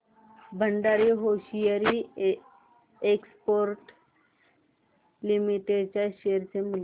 Bhandari hosiery exports limited च्या share चे मूल्य